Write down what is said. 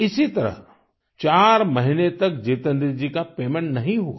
इसी तरह चार महीने तक जितेन्द्र जी का पेमेन्ट नहीं हुआ